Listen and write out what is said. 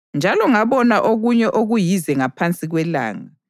Njalo ngabona okunye okuyize ngaphansi kwelanga: